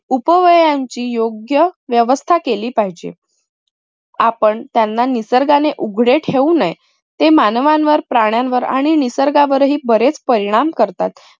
उपवयांची योग्य व्यवस्था केली पाहिजे. आपण त्यांना निसर्गाने उघडे ठेऊ नये. ते मानवांवर, प्राण्यांवर आणि निसर्गावरही बरेच परिणाम करतात.